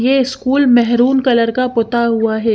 ये school maroon colour का पुता हुआ है।